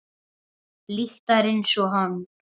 Lyktar einsog hann.